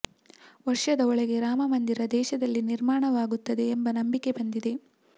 ವರ್ಷದ ಒಳಗೆ ರಾಮ ಮಂದಿರ ದೇಶದಲ್ಲಿ ನಿರ್ಮಾಣವಾಗುತ್ತದೆ ಎಂಬ ನಂಬಿಕೆ ಬಂದಿದೆ